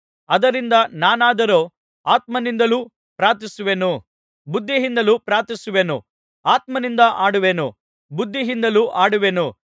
ಆದ್ದರಿಂದ ನಾನಾದರೋ ಆತ್ಮನಿಂದಲೂ ಪ್ರಾರ್ಥಿಸುವೆನು ಬುದ್ಧಿಯಿಂದಲೂ ಪ್ರಾರ್ಥಿಸುವೆನು ಆತ್ಮನಿಂದ ಹಾಡುವೆನು ಬುದ್ಧಿಯಿಂದಲೂ ಹಾಡುವೆನು